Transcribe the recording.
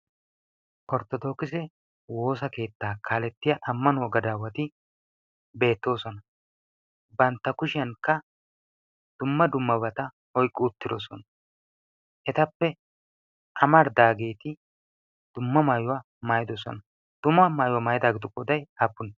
orttodokise woosa keettaa kaalettiya ammanwo gadaawati beettoosona bantta kushiyankka dumma dummabata oyqqu uttidosona etappe amaridaageeti dumma maayuwaa maayidosona dumma maayuwaa maayidaageetu goday appunee?